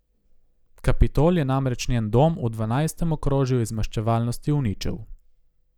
Kapitol je namreč njen dom v dvanajstem okrožju iz maščevalnosti uničil.